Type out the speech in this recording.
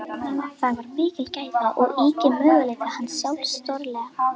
Það var mikil gæfa og yki möguleika hans sjálfs stórlega.